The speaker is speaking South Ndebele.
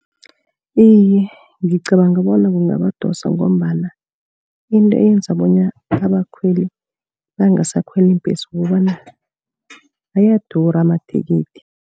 Iye, ngicabanga bona kungabadosa, ngombana into eyenza bonyana abakhweli bangasakhweli iimbesi kukobana ayadura amathikithi.